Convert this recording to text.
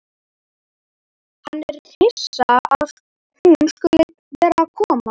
Hann er hissa að hún skuli vera að koma.